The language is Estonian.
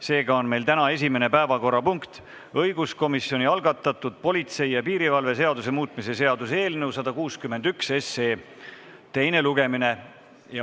Seega on meil täna esimene päevakorrapunkt õiguskomisjoni algatatud politsei ja piirivalve seaduse muutmise seaduse eelnõu 161 teine lugemine.